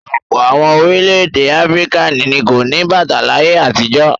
Ọ̀pọ̀ àwọn orílẹ̀-èdè Áfíríkà ni kò ní bàtà láyé àtijọ́.